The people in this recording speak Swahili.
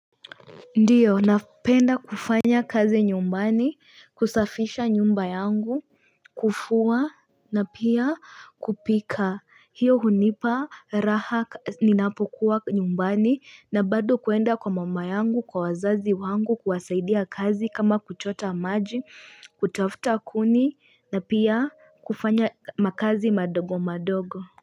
Ndio, napenda kufanya kazi nyumbani, kusafisha nyumba yangu, kufua na pia kupika hiyo hunipa raha ninapokuwa nyumbani, na bado kuenda kwa mama yangu, kwa wazazi wangu, kuwasaidia kazi kama kuchota maji, kutafuta kuni, na pia kufanya makazi madogo madogo.